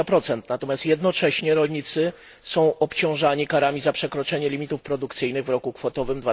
20. Natomiast jednocześnie rolnicy są obciążani karami za przekroczenie limitów produkcyjnych w roku kwotowym